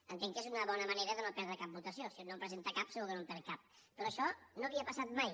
entenc que és una bo·na manera de no perdre cap votació si un no presen·ta cap segur que no en perd cap però això no havia passat mai